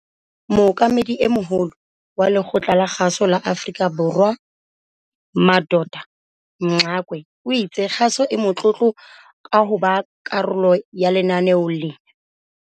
Mookamedi e Moholo, CEO, wa Lekgotla la Kgaso la Afrika Borwa, SABC, Madoda Mxakwe o itse kgaso e motlotlo ka hoba karolo ya lenaneo lena.